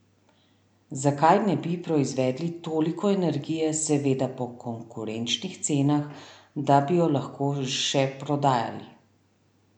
Zakaj ne bi proizvedli toliko energije, seveda po konkurenčnih cenah, da bi jo lahko še prodajali?